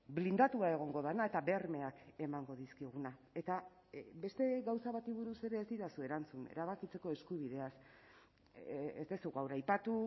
blindatua egongo dena eta bermeak emango dizkiguna eta beste gauza bati buruz ere ez didazu erantzun erabakitzeko eskubideaz ez duzu gaur aipatu